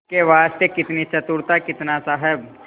इसके वास्ते कितनी चतुरता कितना साहब